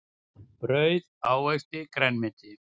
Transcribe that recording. Brauð ávexti grænmeti.